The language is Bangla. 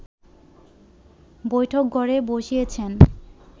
বৈঠকঘরে বসিয়েছেন